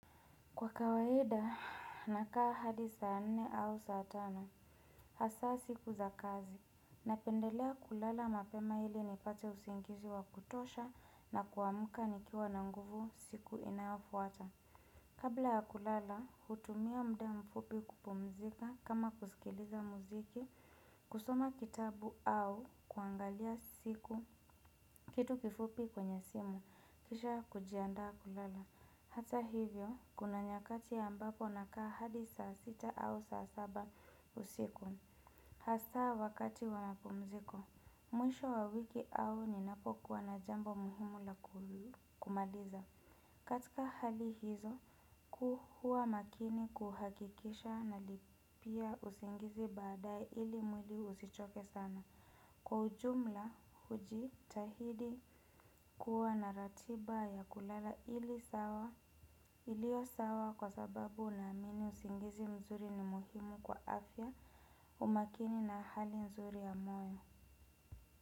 Kwa kawaida, nakaa hadi saa nne au saa tano, hasaa siku za kazi, napendelea kulala mapema ili nipate usingizi wa kutosha na kuamka nikiwa na nguvu siku inayofuata. Kabla ya kulala, hutumia muda mfupi kupumzika kama kusikiliza muziki, kusoma kitabu au kuangalia kitu kifupi kwenye simu, kisha kujiandaa kulala. Hata hivyo, kuna nyakati ambapo na kaa hadi saa sita au saa saba usiku. Hasaa wakati wa mapumziko mwisho wa wiki au ninapokua na jambo muhimu la kumaliza. Katika hali hizo, kuwa makini kuhakikisha na lipia usingizi badae ili mwili usichoke sana. Kwa ujumla huji tahidi kuwa na ratiba ya kulala ili sawa ilio sawa kwa sababu na amini usingizi mzuri ni muhimu kwa afya umakini na hali nzuri ya moyo.